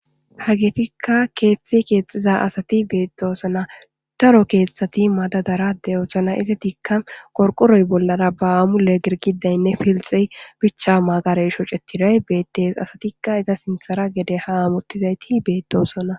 Hagetika kethe kexiza asat betosona. Daro kethati madadara de'osona. Histidika qorqoroy bollara ba mule girgidayne pilxey bicha magarey shocetiday betes . Asatika iza sinthera gede ha hamutizayti betosona.